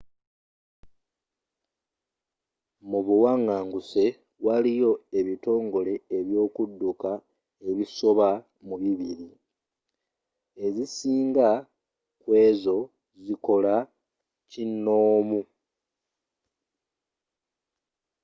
mubuwanganguse waliyo ebitongole ebyokudduka ebisoba mu 200 ezisinga kuezo zikola kinoomu